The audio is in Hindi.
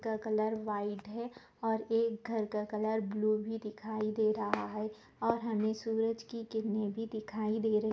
घर का कलर व्हाइट है और एक घर का कलर ब्लू भी दिखाई दे रहा है और हमें सूरज की किरनें भी दिखाई दे रही है।